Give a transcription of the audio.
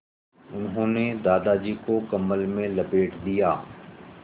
उन्होंने दादाजी को कम्बल में लपेट दिया